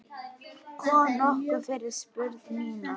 Kom nokkuð fyrir? spurði Nína.